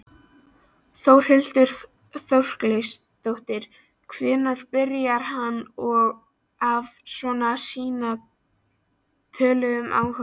Þórhildur Þorkelsdóttir: Hvenær byrjaði hann að svona sýna tölvum áhuga?